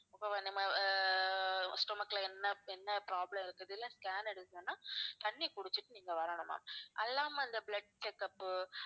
இப்ப நம்ம ah stomach ல என்ன என்ன problem இருக்குதுல scan எடுக்கணும்னா தண்ணி குடிச்சிட்டு வரணும் ma'am அது இல்லாம இந்த blood check up